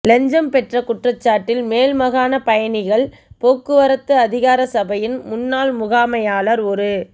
இலஞ்சம் பெற்ற குற்றச்சாட்டில் மேல் மாகாண பயணிகள் போக்குவரத்து அதிகாரசபையின் முன்னாள் முகாமையாளர் ஒரு